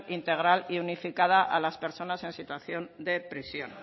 integral y unificada a las personas en situación de prisión